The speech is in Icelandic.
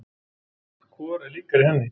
Hvor er líkari henni?